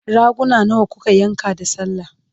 raguna nawa kuka yanka da sallah?